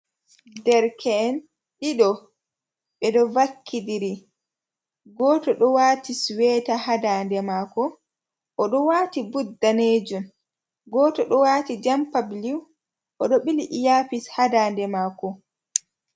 Derke en ɗiɗo ɓe ɗo vakkidiri, goto ɗo wati suweta ha daande mako, o ɗo wati bud danejun, goto ɗo wati jampa bulew oɗo ɓili iyapis ha daande mako.